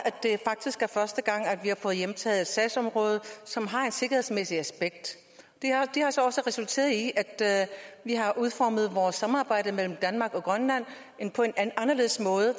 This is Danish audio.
første gang at vi har fået hjemtaget et sagsområde som har et sikkerhedsmæssigt aspekt det har så også resulteret i at vi har udformet vores samarbejde mellem danmark og grønland på en anderledes måde